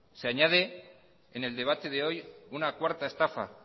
se añade en el debate de hoy una cuarta estafa